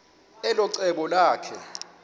elo cebo lakhe